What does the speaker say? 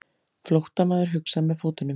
Flóttamaður hugsar með fótunum.